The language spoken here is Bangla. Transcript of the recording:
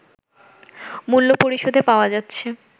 মূল্য পরিশোধে পাওয়া যাচ্ছে